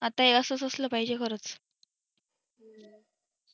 आता हे असच असला पाहिजे खरंच